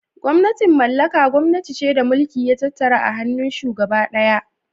"Gwamnatin mallaka " gwamnati ce da mulki ya tattara a hannun shugaba daya.